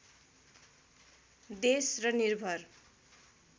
देश र निर्भर